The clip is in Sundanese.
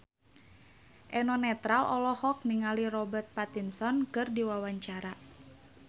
Eno Netral olohok ningali Robert Pattinson keur diwawancara